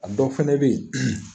A dɔ fɛnɛ be yen